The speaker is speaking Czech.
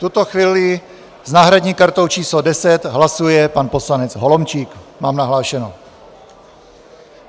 V tuto chvíli s náhradní kartou číslo 10 hlasuje pan poslanec Holomčík, mám nahlášeno.